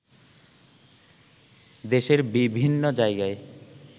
দেশের বিভিন্ন জায়গায়